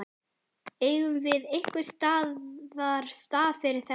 Eigum við einhvers staðar stað fyrir þetta?